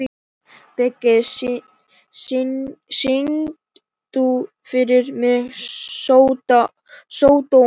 Biggi, syngdu fyrir mig „Sódóma“.